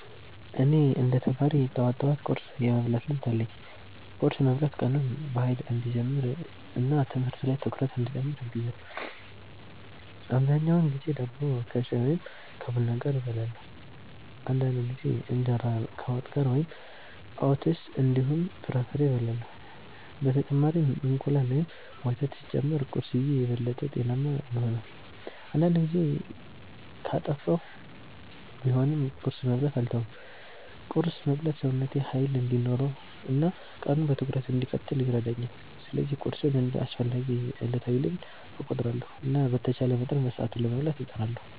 እኔ እንደ ተማሪ ጠዋት ጠዋት ቁርስ የመብላት ልምድ አለኝ። ቁርስ መብላት ቀኑን በኃይል እንዲጀምር እና ትምህርት ላይ ትኩረት እንዲጨምር ያግዛል። አብዛኛውን ጊዜ ዳቦ ከሻይ ወይም ከቡና ጋር እበላለሁ። አንዳንድ ጊዜ እንጀራ ከወጥ ጋር ወይም ኦትስ እንዲሁም ፍራፍሬ እበላለሁ። በተጨማሪም እንቁላል ወይም ወተት ሲጨመር ቁርስዬ የበለጠ ጤናማ ይሆናል። አንዳንድ ጊዜ ጊዜ ካጠፋሁ ቢሆንም ቁርስ መብላትን አልተውም። ቁርስ መብላት ሰውነቴ ኃይል እንዲኖረው እና ቀኑን በትኩረት እንድቀጥል ይረዳኛል። ስለዚህ ቁርስን እንደ አስፈላጊ ዕለታዊ ልምድ እቆጥራለሁ እና በተቻለ መጠን በሰዓቱ ለመብላት እጥራለሁ።